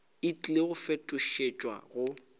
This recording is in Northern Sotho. e tlile go fetošetšwa go